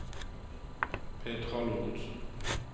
Petra Lorentsen